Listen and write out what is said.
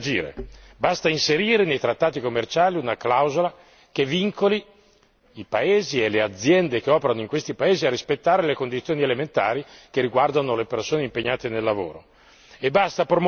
Abbiamo gli strumenti per agire, basta inserire nei trattati commerciali una clausola che vincoli i paesi e le aziende che operano in questi paesi a rispettare le condizioni elementari che riguardano le persone impegnate nel lavoro.